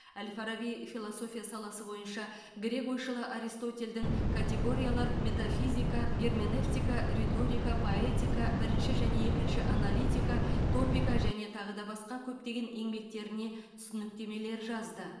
әл фараби философия саласы бойынша грек ойшылы аристотельдің категориялар метафизика герменевтика риторика поэтика бірінші және екінші аналитика топика және тағы да басқа көптеген еңбектеріне түсініктемелер жазды